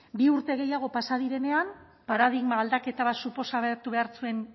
bi urte gehiago pasa direnean paradigma aldaketa bat suposatu behar zuen